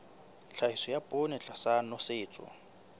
tlhahiso ya poone tlasa nosetso